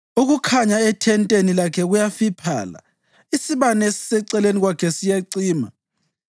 Ukukhanya ethenteni lakhe kuyafiphala; isibane esiseceleni kwakhe siyacima.